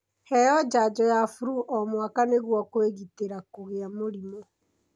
Heo janjo ya flu o mwaka nĩgũo kwĩgitĩra kũgĩa mũrimũ.